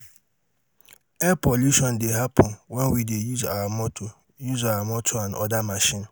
air pollution dey happen when we dey use our motor use our motor and oda machine